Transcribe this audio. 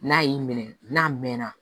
N'a y'i minɛ n'a mɛnna